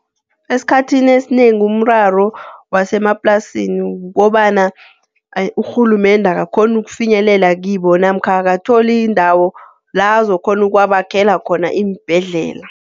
Esikhathini esinengi umraro wasemaplasini kukobana urhulumende akakghoni ukufinyelela kibo, namkha akatholi indawo la azokukghona ukubakhela khona iimbhedlela.